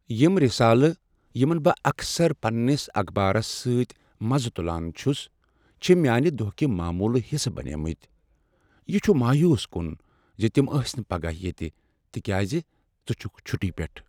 یم رسالہٕ یمن بہٕ اکثر پننس اخبارس سۭتۍ مزٕ تُلان چھُس چھِ میانہِ دۄہكہِ معمولٕکۍ حصہٕ بنیمٕتۍ ۔ یہ چھُ مایوس کُن ز تم ٲسۍ نہٕ پگاہ ییتہٕ تکیاز ژٕ چھُكھ چھُٹی پیٹھ ۔